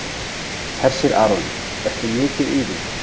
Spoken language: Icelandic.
Hersir Aron: Ertu mikið í því?